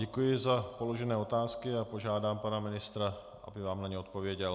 Děkuji za položené otázky a požádám pana ministra, aby vám na ně odpověděl.